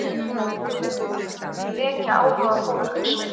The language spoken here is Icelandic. Þetta mun vekja áhuga fólks.